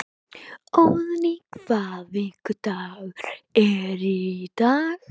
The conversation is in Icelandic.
Óðný, hvaða vikudagur er í dag?